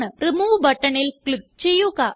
remove ബട്ടണിൽ click ചെയ്യുക